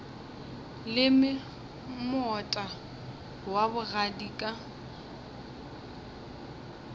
leme moota wa bogadi ka